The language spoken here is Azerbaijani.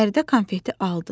Fəridə konfeti aldı.